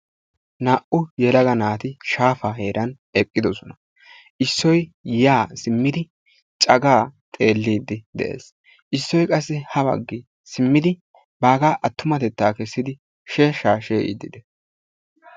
Naa"u yelaga naati shaafaa heeran eqqidosona. Issoy yaa simmidi cagaa xelliiddi de'ees. Issoy qassi ha baggi simmidi baagaa attumatettaa kessidi sheeshshaa she'iddi dees.